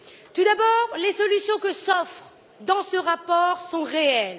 Tout d'abord les solutions qui figurent dans ce rapport sont réelles.